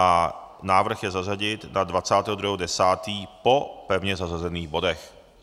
A návrh je zařadil na 22. 10. po pevně zařazených bodech.